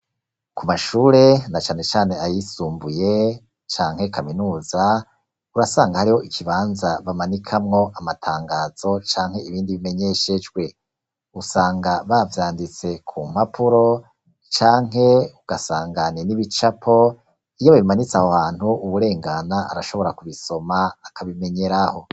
Ku mashure na cane cane ayisumbuye canke kaminuza, urasanga hariho ikibanza bamanikamwo amatangazo, canke ibindi bimenyeshejwe, usanga bavyanditse ku mpapuro, canke ugasanga ni n'ibicapo iyo babimanitse aho hantu uwurengana arashobora kubisoma akabimenyeraho.